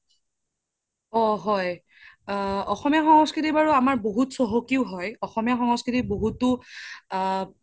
অ হয় অসমীয়া সংস্কৃতি বাৰু আমাৰ বহুত চহকিও হয় অসমীয়া সংস্কৃতি বহুতো আ